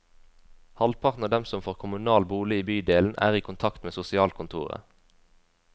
Halvparten av dem som får kommunal bolig i bydelen, er i kontakt med sosialkontoret.